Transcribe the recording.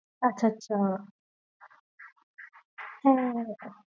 আচ্ছা আচ্ছা হম